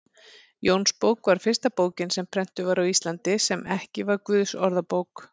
Jónsbók var fyrsta bókin sem prentuð var á Íslandi, sem ekki var Guðsorðabók.